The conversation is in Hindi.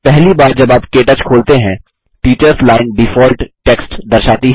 पहली बार जब आप के टच खोलते हैं टीचर्स लाइन डिफॉल्ट टेक्स्ट दर्शाती है